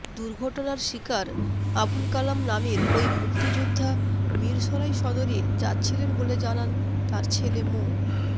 দুর্ঘটনার শিকার আবুল কালাম নামের ওই মুক্তিযোদ্ধা মিরসরাই সদরে যাচ্ছিলেন বলে জানান তার ছেলে মো